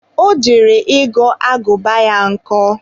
ọ jere ịghọ agụba ya nkọ